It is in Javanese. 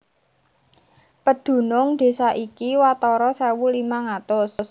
Pedunung désa iki watara sewu limang atus